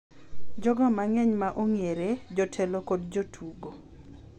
Jogo mang’eny ma ong’ere, jotelo kod jotugo